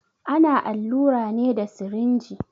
Ana allura ne da sirinji.